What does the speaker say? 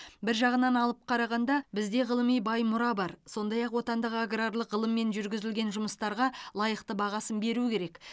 бір жағынан алып қарағанда бізде ғылыми бай мұра бар сондай ақ отандық аграрлық ғылыммен жүргізілген жұмыстарға лайықты бағасын беру керек